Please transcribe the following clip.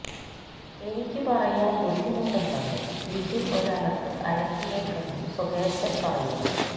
എനിക്ക് പറയാന് ബുദ്ധിമുട്ടുണ്ടെന്നും ബിജു ഒരലക്ക് അലക്കിയേക്കെന്നും സുകേശന് പറയുന്നു